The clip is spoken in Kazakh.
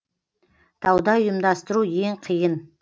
тауда ұйымдастыру ең қиын